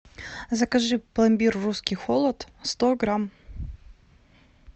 закажи пломбир русский холод сто грамм